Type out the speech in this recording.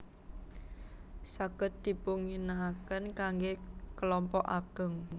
Saged dipunginaaken kangge kelompok ageng